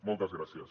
moltes gràcies